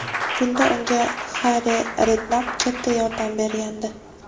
Bunda unga Harri Rednapp katta yordam bergandi.